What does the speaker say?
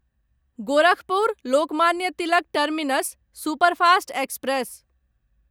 Gorakhpur Lokmanya Tilak terminus superfast express